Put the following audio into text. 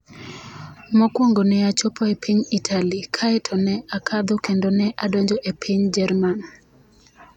Mokwongo ne achopo e piny Italy kae to ne akadho kendo ne adonjo e piny Jerman.